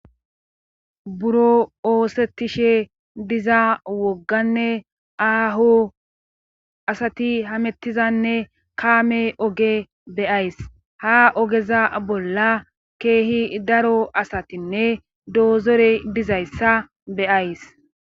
Buro oosettishe diza wogganne aaho asati hamettizanne kaame oge beyays ha ogeza bolla keehi daro asatinne doozore dizayssa beyays.